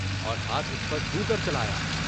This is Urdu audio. اور ہاتھ اُس پر کیوں کر چلایا؟